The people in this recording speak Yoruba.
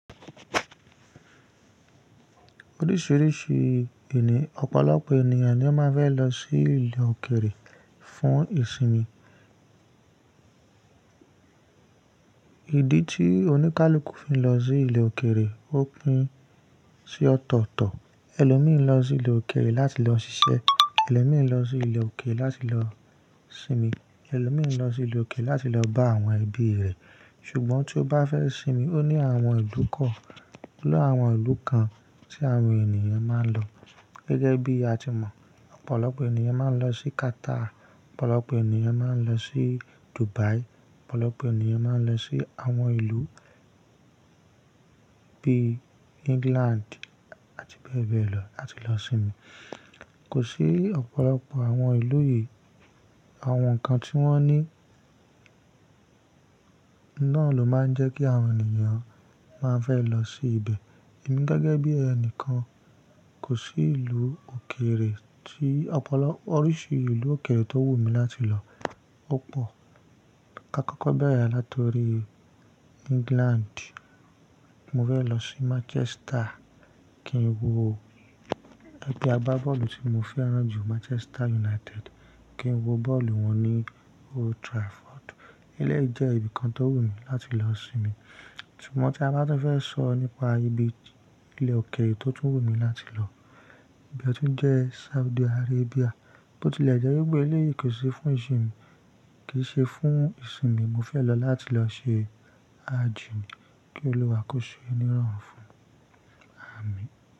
Oríṣìíríṣìí eni ọ̀pọ̀lọpọ̀ ènìyàn ni ó máa fẹ́ lọ sí ilẹ̀ òkèrè fún ìsinmi. Ìdí tí oníkálukú fi ń lọ sí ilẹ̀ òkèrè ó pín sí ọ̀tọ̀ọ̀tọ̀. Ẹlòmíín lọ sí ilẹ̀ òkèrè láti lọ ṣiṣẹ́, ẹlòmíín lọ sí ilẹ̀ òkèrè láti lọ sinmi, ẹlòmíín lọ sí ilẹ̀ òkèrè láti lọ bá àwọn ẹbí rẹ̀. Ṣùgbọ́n tí ó bá fẹ́ sinmi, ó ní àwọn ìlú kan, o ni àwọn ìlú kan tí àwọn ènìyàn máa ń lọ. Gẹ́gẹ́ bí a ti mọ̀, ọ̀pọ̀lọpọ̀ ènìyàn máa ń lọ sí Qatar, ọ̀pọ̀lọpọ̀ ènìyàn máa ń lọ sí Dubai, ọ̀pọ̀lọpọ̀ ènìyàn máa ń lọ sí àwọn ìlú bí England àti bẹ́ẹ̀ bẹ́ẹ̀ lọ láti lọ sinmi. Kò sí ọ̀pọ̀lọpọ̀ àwọn ìlú yìí, àwọn nǹkan tí wọ́n ní náà ló máa ń jẹ́ kí àwọn ènìyàn máa fẹ́ lọ sí ibẹ̀. Èmi gẹ́gẹ́ bí ẹnìkan kò sí ìlú òkèrè tí ọ̀pọ̀lọ-- oríṣi ìlú òkèrè tó wù mí láti lọ ò pọ̀. Ṣùgbọ́n kákọ́ọ́bẹ̀rẹ̀ láti orí England, mo fẹ́ lọ sí Manchester kí n wo ẹgbẹ́ agbábọ́ọ̀lù tí mo fẹ́ràn jù Manchester United, kí n wo bọ́ọ̀lù wọn ní Old Trafford. Ilé yìí jẹ́ ibìkan tó wù mí láti lọ sinmi. Ṣùgbọ́n tí a bá tún fẹ́ sọ nípa ibi ilẹ̀ òkèrè tó tún wù mí láti lọ, ibẹ tun jẹ́ Saudi Arabia, bó ti lẹ̀ jẹ́ wípé ilé yìí kò ṣe fún ìsinmi, kì í ṣe fún ìsinmi mo fẹ́ lọ láti lọ ṣe hajj mi kí Olúwa kó ṣee ni roorùn fún mi. Àmín.